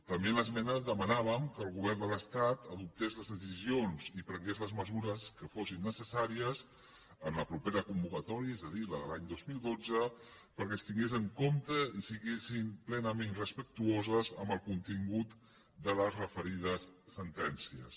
també en l’esmena demanàvem que el govern de l’estat adoptés les decisions i prengués les mesures que fossin necessàries en la propera convocatòria és a dir la de l’any dos mil dotze perquè es tingués en compte i fossin plenament respectuoses amb el contingut de les referides sentències